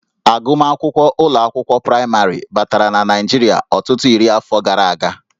Agụmakwụkwọ ụlọ akwụkwọ praịmarị batara na Naịjirịa ọtụtụ iri afọ gara aga